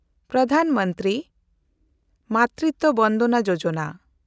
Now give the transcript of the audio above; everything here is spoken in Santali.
ᱯᱨᱚᱫᱷᱟᱱ ᱢᱚᱱᱛᱨᱤ ᱢᱟᱛᱨᱤᱛᱣᱚ ᱵᱚᱱᱫᱚᱱᱟ ᱭᱳᱡᱚᱱᱟ